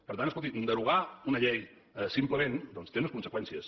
per tant escolti derogar una llei simplement doncs té unes conseqüències